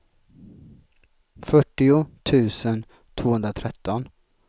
fyrtio tusen tvåhundratretton